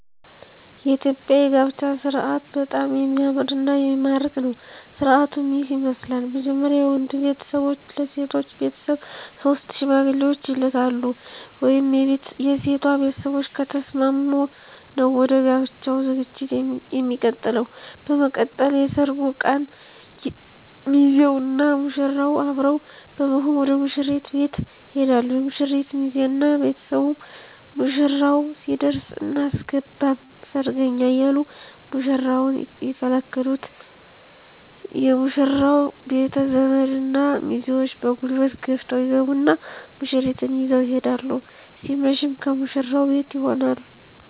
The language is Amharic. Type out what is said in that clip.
የኢትዮጵያ የጋብቻ ስርአት በጣም የሚያምርና የሚማርክ ነው። ስርአቱም ይህን ይመስላል። መጀመርያ የወንዱ ቤተሰቦች ለሴቶ ቤተሰቦች ሶስት ሽማግሌዎችን ይልካሉ። (የሴቷ ቤተሰቦች ከተስማሙ ነው ወደ ጋብቻው ዠግጂት የሚቀጥለው) በመቀጠል የሰርጉ ቀን ሚዜውና ሙሽራው አብረው በመሆን ወደ ሙሽሪት ቤት ይሄዳሉ የሙሽሪት ሚዜ እና ቤተሰቡ ሙሽራው ሲደርስ አናስገባም ሰርገኛ እያሉ ሙሽራውን ይከለክሉት የሙሽራው ቤተዘመድ እና ሚዜዎቹ በጉልበት ገፍተው ይገቡና ሙሽሪትን ይዘው ይሄዳሉ ሲመሽም ከሙሽራው ቤት ይሆናል